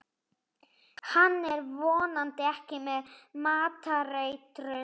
Hann er vonandi ekki með matareitrun.